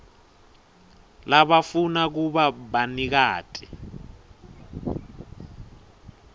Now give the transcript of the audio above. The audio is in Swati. labafuna kuba banikati